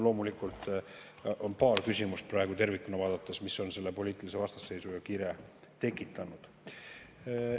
Loomulikult on tervikuna vaadates praegu paar küsimust, mis on selle poliitilise vastasseisu ja kire tekitanud.